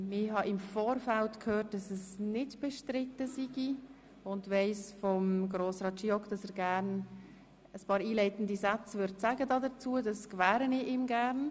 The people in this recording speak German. Ich habe im Vorfeld gehört, dass es nicht bestritten sei und weiss von Grossrat Giauque, dass er gerne einige einleitende Sätze dazu sagen möchte.